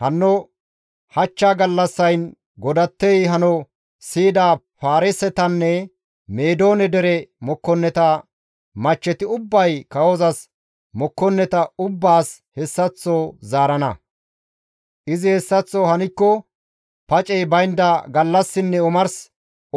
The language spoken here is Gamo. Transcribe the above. Hanno hachcha gallassayn godattey hano siyida Paarisetanne Meedoone dere mokkonneta machcheti ubbay kawozas mokkonneta ubbaas hessaththo zaarana. Izi hessaththo hankko pacey baynda gallassinne omars